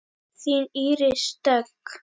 Þín Íris Dögg.